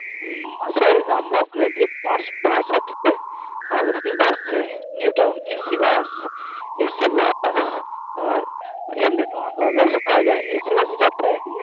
মাসির বাড়ি নামবো ওখানে দিয়ে Bus Bus আসবে Bus new town AC busNew TownAC bus বাতাস আর এমনি Bus ও পাওয়া যায় AC bus চাপবে?